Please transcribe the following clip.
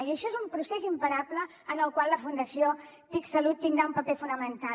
i això és un procés imparable en el qual la fundació tic salut tindrà un paper fonamental